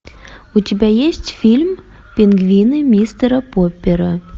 у тебя есть фильм пингвины мистера поппера